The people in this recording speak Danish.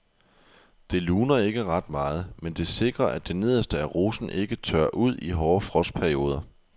Det luner ikke ret meget, men det sikrer at det nederste af rosen ikke tørrer ud i hårde frostperioder.